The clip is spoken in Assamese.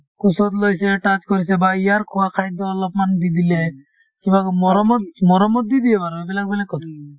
কোচত লৈছে touch কৰিছে বা ইয়াৰ খোৱা খাদ্য অলপমান দি দিলে কিবা কই মৰমত মৰমত দি দিয়ে বাৰু সেইবিলাক বেলেগ কথা